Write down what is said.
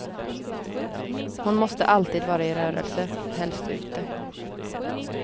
Hon måste alltid vara i rörelse, helst ute.